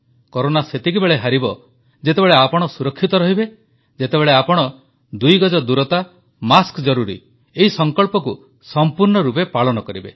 corona ସେତେବେଳେ ହାରିବ ଯେତେବେଳେ ଆପଣ ସୁରକ୍ଷିତ ରହିବେ ଯେତେବେଳେ ଆପଣ ଦୁଇ ଗଜ ଦୂରତା ମାସ୍କ ଜରୁରୀ ଏହି ସଂକଳ୍ପକୁ ସମ୍ପୂର୍ଣ୍ଣ ରୂପେ ପାଳନ କରିବେ